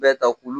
Bɛɛ ta k'u